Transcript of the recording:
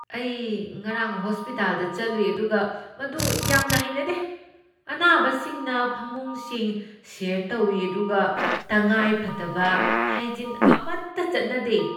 ꯑꯩ ꯉꯔꯥꯡ ꯍꯣꯁꯄꯤꯇꯥꯜꯗ ꯆꯠꯂꯨꯏ ꯑꯗꯨꯒ ꯃꯗꯨ ꯌꯥꯝꯅ ꯍꯩꯅꯗꯦ꯫ ꯑꯅꯥꯕꯁꯤꯡꯅ ꯐꯃꯨꯡꯁꯤꯡ ꯁꯦꯌꯔ ꯇꯧꯏ ꯑꯗꯨꯒ ꯇꯉꯥꯏꯐꯗꯕ ꯍꯥꯏꯖꯤꯟ ꯑꯃꯠꯇ ꯆꯠꯅꯗꯦ꯫